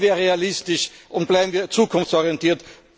Bleiben wir realistisch und bleiben wir zukunftsorientiert.